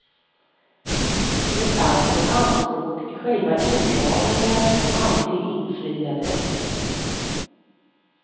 Det fanns ett anspråk i själva inramningen som aldrig infriades.